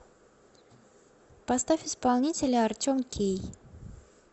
поставь исполнителя артем кей